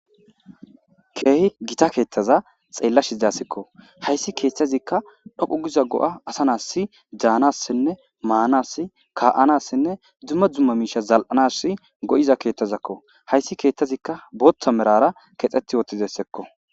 Keehi gita keettaza xeellashi daasekko hayssi keeththazikka dhoqu giza go'a asanass daanassinne maanass ka'anassinne dzumma dzumma miisha zal'anas go'iza keettazakko hayssi keeththazikka booththa merara kexxeti wotizessekko